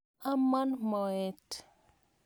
Amon moet.